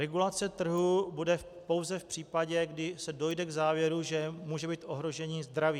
Regulace trhu bude pouze v případě, kdy se dojde k závěru, že může být ohrožení zdraví.